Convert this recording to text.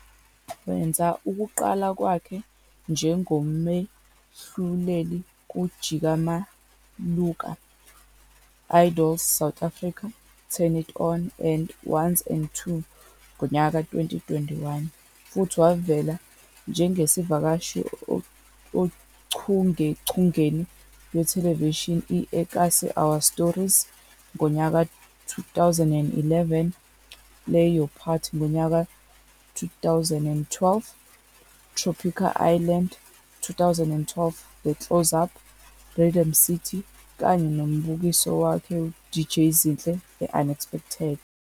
Wenza ukuqala kwakhe njengomahluleli ku-Jika Ma Luka, Idols South Africa, Turn It On, and 1's and 2's, 2021, futhi wavela njengesivakashi ochungechungeni lwethelevishini i-eKasi- Our Stories, 2011, Play Your Part, 2012, Tropika Island, 2012, The Close Up, Rhythm City, kanye nombukiso wakhe, DJ Zinhle The Unexpected.